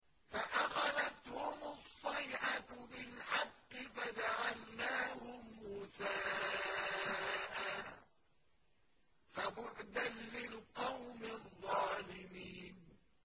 فَأَخَذَتْهُمُ الصَّيْحَةُ بِالْحَقِّ فَجَعَلْنَاهُمْ غُثَاءً ۚ فَبُعْدًا لِّلْقَوْمِ الظَّالِمِينَ